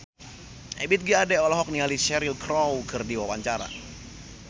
Ebith G. Ade olohok ningali Cheryl Crow keur diwawancara